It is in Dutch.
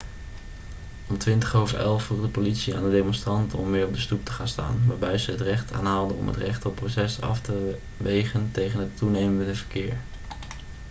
om 11:20 vroeg de politie aan de demonstranten om weer op de stoep te gaan staan waarbij zij het recht aanhaalde om het recht op protest af te wegen tegen het toenemende verkeer